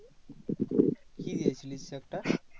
কি দিয়েছিলিস তুই একটা?